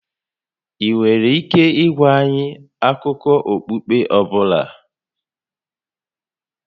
Ị nwere ike ịgwa anyị akụkọ okpukpe ọ bụla?